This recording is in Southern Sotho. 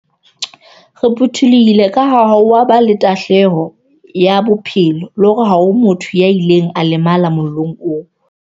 Re phuthulohile kaha ha ho a ba le tahlelo ya bophelo le hore ha ho motho ya ileng a lemala mollong oo.